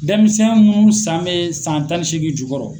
Denmisɛn mun san bɛ san tan ni seegin jukɔrɔ.